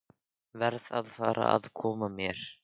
Verð að fara að koma mér.